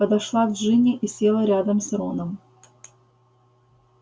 подошла джинни и села рядом с роном